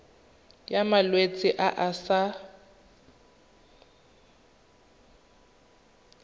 ya malwetse a a sa